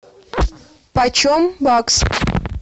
почем бакс